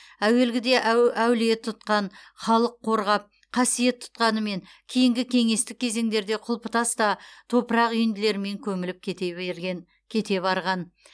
әуелгіде әулие тұтқан халық қорғап қасиет тұтқанымен кейінгі кеңестік кезеңдерде құлыптас та топырақ үйінділерімен көміліп кете барған